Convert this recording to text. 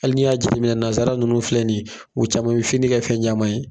Hali ni y'a jateminɛ nasara nunnu filɛ nin ye , u caman be fini kɛ fɛn caman ye.